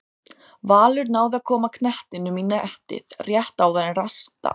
Valur náði að koma knettinum í netið rétt áðan en rangstaða var dæmd.